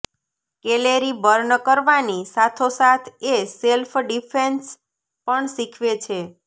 calorie burn કરવાની સાથોસાથ એ સેલ્ફ ડિફેન્સ પણ શીખવે છે